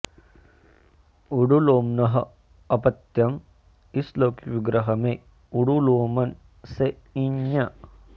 उडुलोम्नः अपत्यम् इस लौकिक विग्रह में उडुलोमन् से इञ्